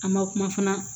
An ma kuma fana